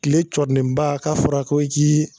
Tile cɔrinenba k'a fɔra ko i k'i